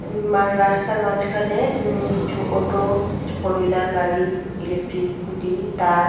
উম্ম মার রাস্তার মাঝখানে উ কিছু অটো ফোর হুইলার গাড়ি ইলেকট্রিক খুঁটি তার--